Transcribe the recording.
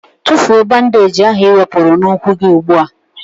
Tụfụọ bandage ahụ i wepụrụ na ụkwụ gị ụgbụa!!!